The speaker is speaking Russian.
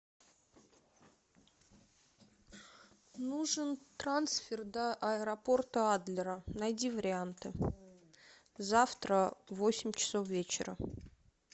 нужен трансфер до аэропорта адлера найди варианты завтра в восемь часов вечера